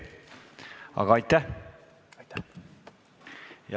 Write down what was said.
Aga aitäh!